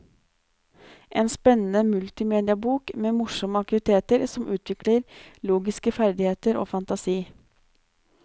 En spennende multimediabok med morsomme aktiviteter som utvikler logiske ferdigheter og fantasi.